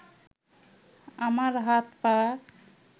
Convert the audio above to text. আমার হাত-পা